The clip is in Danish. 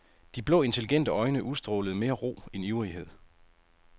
De blå intelligente øjne udstrålede mere ro end ivrighed.